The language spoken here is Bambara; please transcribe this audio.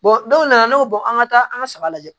dɔw nana ne bɛ bɔ an ka taa an ka saba lajɛ